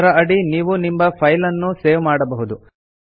ಅದರ ಅಡಿ ನೀವು ನಿಮ್ಮ ಫೈಲ್ ನ್ನು ಸೇವ್ ಮಾಡಬಹುದು